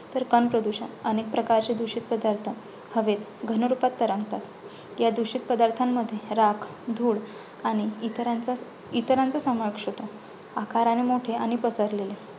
तर कण प्रदूषण. अनेक प्रकारचे दुषित पदार्थ हवेत घनरूपात तरंगतात. या दुषित पदार्थांमध्ये राख, धूळ आणि इतरांचा इतरांचा समावेश होतो, आकाराने मोठे आणि पसरलेले.